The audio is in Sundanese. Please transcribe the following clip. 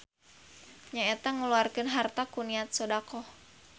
Nyaeta ngaluarkeun harta ku niat sodaqoh.